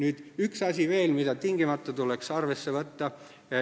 Veel üks asi, mida tuleks tingimata arvesse võtta.